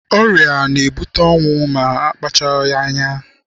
Ọrịa na-ebute ọnwụ ma akpachapụghị anya.